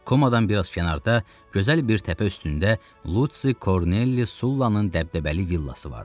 Komadan biraz kənarda gözəl bir təpə üstündə Lusi Kornelli Sulanın dəbdəbəli villası vardı.